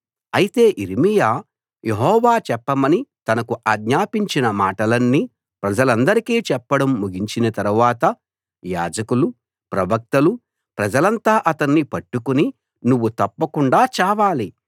అయితే యిర్మీయా యెహోవా చెప్పమని తనకు ఆజ్ఞాపించిన మాటలన్నీ ప్రజలందరికీ చెప్పడం ముగించిన తరువాత యాజకులూ ప్రవక్తలూ ప్రజలంతా అతణ్ణి పట్టుకుని నువ్వు తప్పకుండా చావాలి